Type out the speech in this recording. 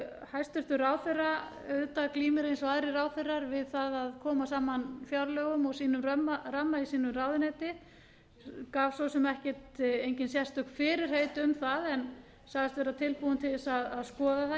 hæstvirtur ráðherra auðvitað glímir eins og aðrir ráðherrar við það að að koma saman fjárlögum og sínum ramma í sínu ráðuneyti gaf svo sem engin sérstök fyrirheit um það en sagðist vera tilbúin til þess að skoða